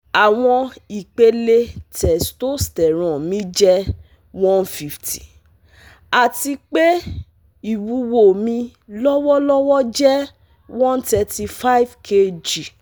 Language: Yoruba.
Awọn ipele testosterone mi jẹ one hundred fifty, ati pe iwuwo mi lọwọlọwọ jẹ one hundred thirty five kg